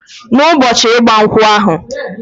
Na ụbọchi igba nkwu ahu...